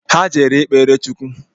Ha jere ikpere Chukwu